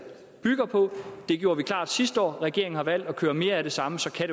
bygger på det gjorde vi klart sidste år regeringen har valgt at køre med mere af det samme så kan